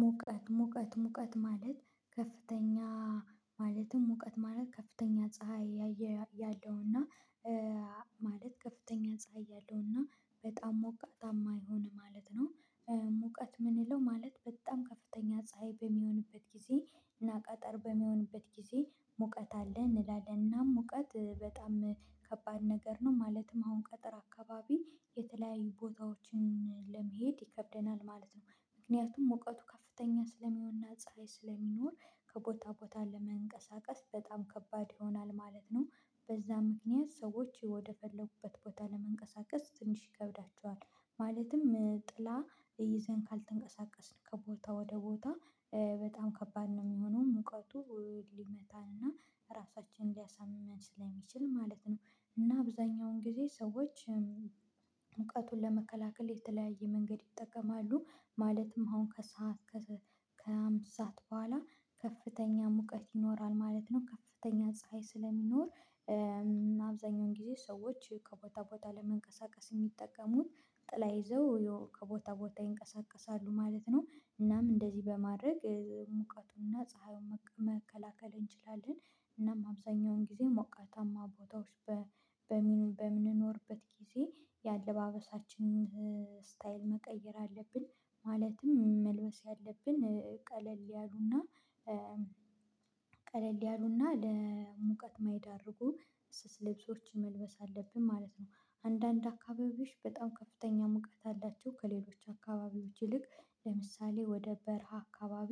ሙቀት ሙቀት ሙቀት ማለት ከፍተኛ ማለትም ሙቀት ማለት ከፍተኛ ፀሀይ ያለውና ማለት ከፍተኛ ፀሀይ ያለው እና በጣም ሞቃታማ የሆነ ማለት ነው። ሙቀት የምንለው ማለት በጣም ከፍተኛ ፀሀይ በሚሆንበት ጊዜ እና ቀትር በሚሆንበት ጊዜ ሙቀት አለ እንላለን እና ሙቀት በጣም ከባድ ነገር ነው። ማለትም አሁን ቀትር አካባቢ የተለያዩ ቦታዎችን ለመሄድ ይከብደናል ማለት ነው። ምክንያቱም ሙቀቱ ከፍተኛ ስለሚሆንና ፀሀይ ስለሚኖር ከቦታ ቦታ ለመንቀሳቀስ በጣም ከባድ ይሆናል ማለት ነው። በዛ ምክንያት ሰዎች ወደፈለጉበት ቦታ ለመንቀሳቀስ ትንሽ ይከብዳቸዋል። ማለትም ጥላ ይዘን ካልተንቀሳቀስን ከቦታ ወደ ቦታ በጣም ከባድ ነው የሚሆነው። ሙቀቱ ሊመታን እና ራሳችንን ሊያሳምመን ስለሚችል ማለት ነው። እና አብዛኛውን ጊዜ ሰዎች ሙቀቱን ለመከላከል የተለያየ መንገድ ይጠቀማሉ። ማለትም አሁን ከሰአት ከአምስት ሰዓት በኋላ ከፍተኛ ሙቀት ይኖራል ማለት ነው። ከፍተኛ ፀሀይ ስለሚኖር አብዛኛውን ጊዜ ሰዎች ከቦታ ቦታ ለመንቀሳቀስ የሚጠቀሙት ጥላ ይዘው ከቦታ ቦታ ይንቀሳቀሳሉ ማለት ነው። እናም እንደዚህ በማድረግ ሙቀቱንና ፀሀዩን መከላከል እንችላለን። እናም አብዛኛውን ጊዜ ሞቃታማ ቦታዎች በምንኖርበት ጊዜ የአለባበሳችንን ስታይል መቀየር አለብን፤ ማለትም መልበስ ያለብን ቀለል ያሉና ቀለል ያሉና ለሙቀት የማይዳርጉ ስስ ልብሶችን መልበስ አለብን ማለት ነው። አንዳንድ አካባቢዎች በጣም ከፍተኛ ሙቀት አላቸው። ከሌሎች አካባቢዎች ይልቅ ለምሳሌ ወደ በረሃ አካባቢ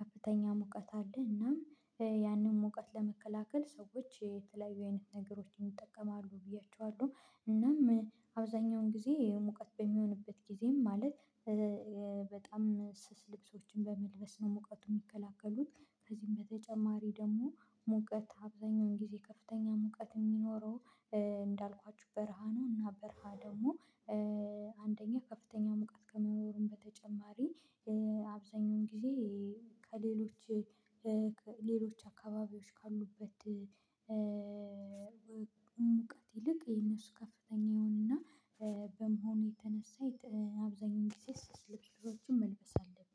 ከፍተኛ ሙቀት አለ። እናም ያንን ሙቀት ለመከላከል ሰዎች የተለያየ አይነት ነገሮችን ይጠቀማሉ ብዬ አስባለሁ። እናም አብዛኛውን ጊዜ ሙቀት በሚሆንበት ጊዜም ማለት በጣም ስስ ልብሶችን በመልበስ ነው ሙቀቱ የሚከላከሉት። ከዚህም በተጨማሪ ደግሞ ሙቀት አብዛኛውን ጊዜ ከፍተኛ ሙቀት የሚኖረው እንዳልኳችሁ በረሃ ነው እና በረሃ ደግሞ አንደኛ ከፍተኛ ሙቀት ከመኖሩም በተጨማሪ አብዛኛውን ጊዜ ከሌሎች ሌሎች አካባቢዎች ካሉበት ሙቀት ይልቅ የነሱ ከፍተኛ ይሆንና በመሆኑ የተነሳ አብዛኛው ጊዜ ስስ ልብሶችን መልበስ አለብን።